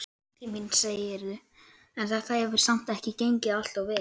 Nútíminn, segirðu, en þetta hefur samt ekki gengið alltof vel?